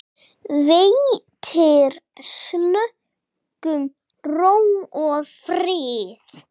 Veitir slökun, ró og frið.